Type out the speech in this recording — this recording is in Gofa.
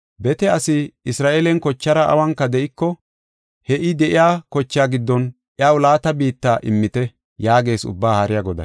Bete asi Isra7eelen kochaara awunka de7iko, he I de7iya kochaa giddon iyaw laata biitta immite” yaagees Ubbaa Haariya Goday.